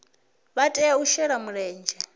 vha tea u shela mulenzhe